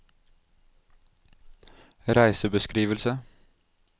reisebeskrivelse